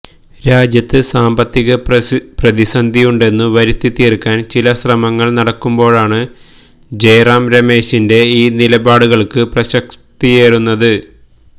രാജ്യത്ത് സാമ്പത്തിക പ്രതിസന്ധിയുണ്ടെന്നു വരുത്തിത്തീര്ക്കാന് ചില ശ്രമങ്ങള് നടക്കുമ്പോഴാണ് ജയറാം രമേശിന്റെ ഈ നിലപാടുകള്ക്ക് പ്രസക്തിയേറുന്നത്